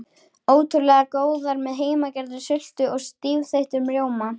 Ótrúlega góðar með heimagerðri sultu og stífþeyttum rjóma.